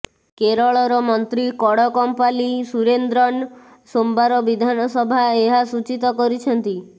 କେରଳର ମନ୍ତ୍ରୀ କଡକମ୍ପାଲି ସୁରେନ୍ଦ୍ରନ୍ ସୋମବାର ବିଧାନସଭା ଏହା ସୂଚୀତ କରିଛନ୍ତି